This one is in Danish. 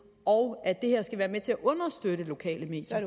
og at det her skal være med til at understøtte lokale medier